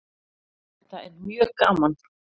Þetta er mjög gaman